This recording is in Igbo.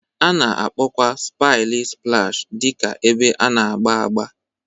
A na-akpọkwa paịlị splash dị ka ebe a na-agba agba